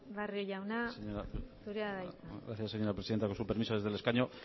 barrio jauna zurea da hitza sí muchas gracias señora presidenta con su permiso desde el escaño